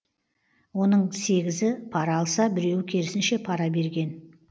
оның сегізі пара алса біреуі керісінше пара берген